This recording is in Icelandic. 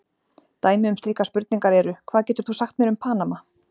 Dæmi um slíkar spurningar eru: Hvað getur þú sagt mér um Panama?